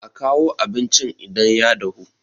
a kawo abincin idan ya dahu!